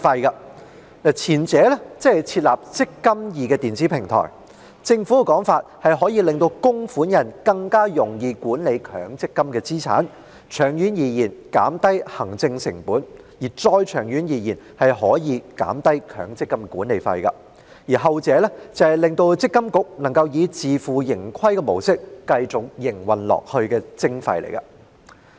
關於前者，即設立"積金易"電子平台，政府的說法是可以令供款人更容易管理強積金資產，長遠而言減低行政成本，再長遠一點可以減低強積金計劃管理費；後者則是讓積金局以自負盈虧模式繼續營運下去的徵費。